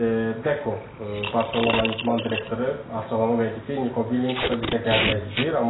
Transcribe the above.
Deko, Barcelonanın idman direktoru açıqlama verdi ki, Niko Williams da bizə gəlmək istəyir.